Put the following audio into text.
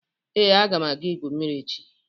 Ee, aga m aga igwu mmiri echi